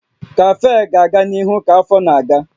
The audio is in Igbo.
Kafee ga-aga n'ihu ka afọ na-aga